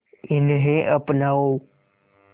इन्हें अपनाओ